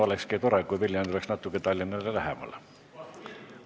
Olekski tore, kui Viljandi oleks Tallinnale natuke lähemal.